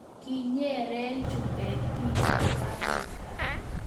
kinyere chumbek biikab Afrika